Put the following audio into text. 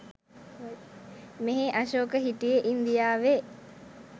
මෙහේ අශෝක හිටියේ ඉන්දියාවේ.